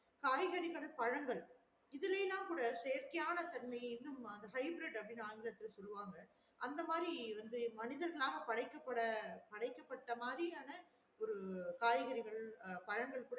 காய்கறிகள் பழங்கள் இதுலலேம் கூட செயற்கையான தன்மையும் இது இத hybrid ன்னு ஆங்கிலத்துல சொல்லுவாங்க அந்த மாறி வந்து மனிதர்களால் படைக்க பட படைக்கப்பட்ட மாறியான ஒரு காய்கறிகள் பழங்கள் கூட